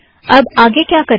अब आगे क्या करें